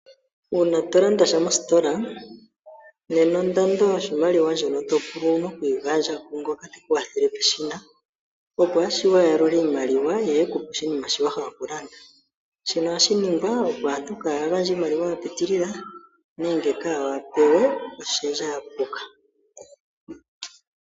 Uuna tolandasha mositola, nena ondando yoshimaliwa ndjono topulwa owu na kuyi gandja kungoka te ku wathele peshina. Opo ashiwe a yalule iimaliwa ye a ekupe shono towapa okulanda. Shino ohashi ningwa opo aantu kaaya gandje oshimaliwa shapitilila nenge kaayapewe oshendja yapuka.